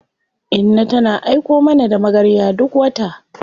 Inna tana aiko mana da magarya duk wata.